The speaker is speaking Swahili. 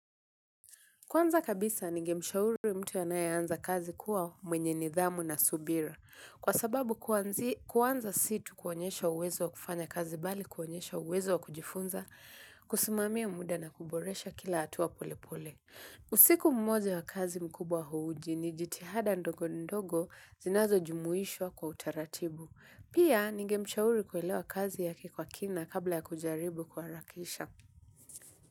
Kwanza kabisa, ninge mshauri mtu ayeanza kazi kuwa mwenye nidhamu na subira. Kwa sababu kuanza si tu kuonyesha uwezo wa kufanya kazi bali kuonyesha uwezo wa kujifunza, kusimamia muda na kuboresha kila hatua pole pole. Usiku mmoja wa kazi mkubwa huuji ni jitihada ndogo ndogo zinazo jumuhishwa kwa utaratibu. Pia, ninge mshauri kuelewa kazi yake kwa kina kabla ya kujaribu kuharakisha.